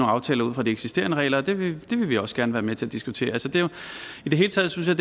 aftaler ud fra de eksisterende regler og det vil vi også gerne være med til at diskutere i det hele taget synes